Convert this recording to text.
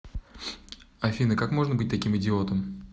афина как можно быть таким идиотом